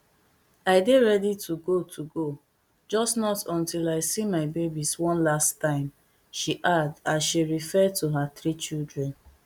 i dey ready to go to go just not until i see my babies one last timeshe add as she refer to her three children